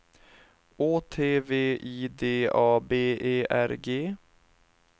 Å T V I D A B E R G